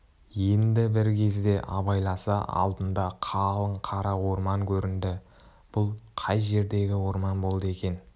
енді бір кезде абайласа алдында қалың қара орман көрінді бұл қай жердегі орман болды екен